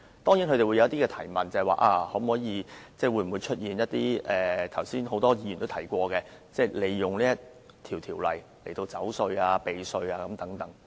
當然，他們會有一些提問，例如會否出現一些剛才不少議員提到的情況，即利用《條例草案》逃稅、避稅。